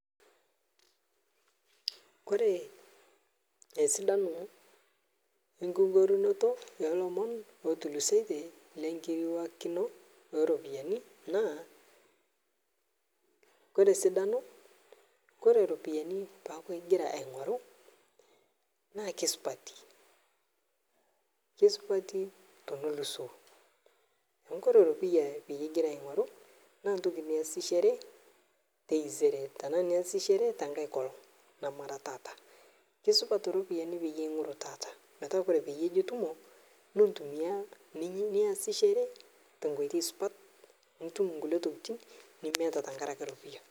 Koree esidano ekingorunoto oo lomon oo tulusoitie lenkiriwakino oo ropiyiani naa koree esidano ore ropiyiani peeaku ingira aingoru naa kesupati, kesupati tenelusoo amu ore eropiyia pee ingira aingoru naa ntoki niyasishore taisere ashu niyasishore tenkae olong namara taata keisupat ropiyiani peyiee ingoru taata metaa koree peyie ijo itumo niasishore te nkoitoi supat nitum nkulie tokitin nimieta tenkaraki ropiyia